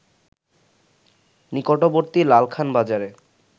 নিকটবর্তী লালখান বাজারে